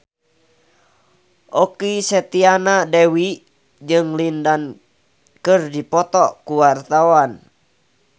Okky Setiana Dewi jeung Lin Dan keur dipoto ku wartawan